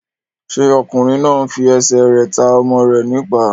Ṣé ọkùnrin náà n fi ẹsẹ̀ rẹ̀ ta ọmọ rẹ̀ ní ìpá?